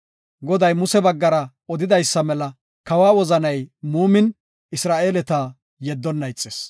Goday Muse baggara odidaysa mela kawa wozanay muumin, Isra7eeleta yeddonna ixis.